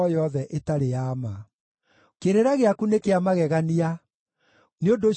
Kĩrĩra gĩaku nĩ kĩa magegania; nĩ ũndũ ũcio nĩndĩrĩgĩathĩkagĩra.